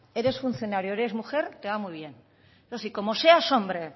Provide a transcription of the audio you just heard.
eres funcionario o eres mujer te va muy bien eso sí como seas hombre